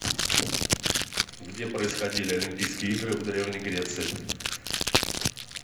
где происходили олимпийские игры в древней греции